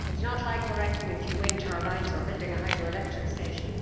It is not like erecting a few wind turbines or building a hydroelectric station.